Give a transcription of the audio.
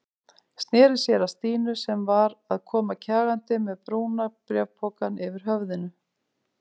Sneri sér að Stínu sem var að koma kjagandi með brúna bréfpokann yfir höfðinu.